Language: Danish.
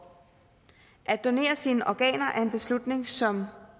at donere sine organer er en beslutning som